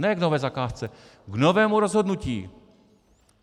Ne k nové zakázce, k novému rozhodnutí.